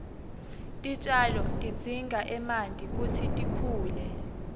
titjalo tidzinga emanti kutsi tikhule